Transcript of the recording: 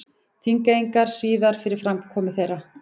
Þingeyinga síðar fyrir framkomu þeirra.